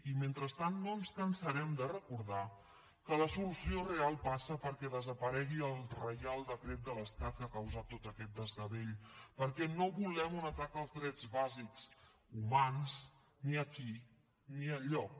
i mentrestant no ens cansarem de recordar que la solució real passa perquè desaparegui el reial decret de l’estat que ha causat tot aquest desgavell perquè no volem un atac als drets bàsics humans ni aquí ni enlloc